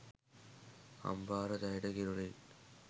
අම්පාර දැයට කිරුළින්